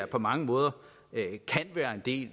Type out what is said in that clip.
på mange måder være en del